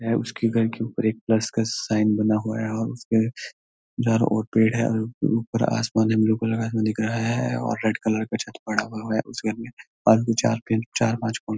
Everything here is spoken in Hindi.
है उसकी घर के ऊपर एक प्लस का साइन बना हुआ हैऔर उसपे जड़ और पेड़ हैऔर ऊपर आसमान हम लोग को लगा हुआ दिख रहा हैऔर रेड कलर का छत पढ़ा हुआ है उस घर में और दो-चार चार-पांच पंक --